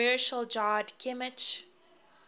commercial jarred kimchi